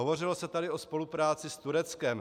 Hovořilo se tady o spolupráci s Tureckem.